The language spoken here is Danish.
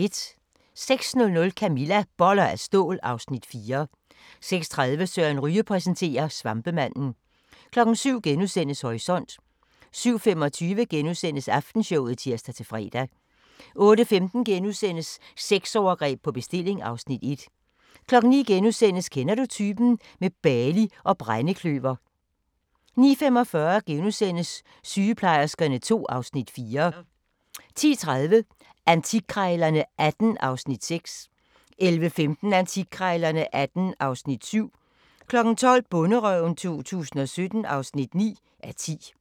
06:00: Camilla – Boller af stål (Afs. 4) 06:30: Søren Ryge præsenterer: Svampemanden 07:00: Horisont * 07:25: Aftenshowet *(tir-fre) 08:15: Sexovergreb på bestilling (Afs. 1)* 09:00: Kender du typen? – med Bali og brændekløver * 09:45: Sygeplejerskerne II (Afs. 4)* 10:30: Antikkrejlerne XVIII (Afs. 6) 11:15: Antikkrejlerne XVIII (Afs. 7) 12:00: Bonderøven 2017 (9:10)